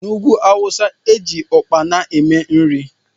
N'ugwú awụsa eji ukpana eme nri.